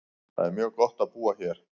Það er mjög gott á búa hér.